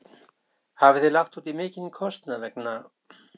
Björn: Hafið þið lagt útí mikinn kostnað vegna?